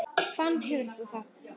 Hvaðan hefur þú það?